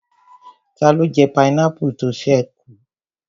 Taló jẹ pineapple tó ṣẹ́ kù?